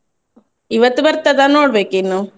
ಇವತ್ತು ಬರ್ತದಾ ನೋಡ್ಬೇಕಿನ್ನು.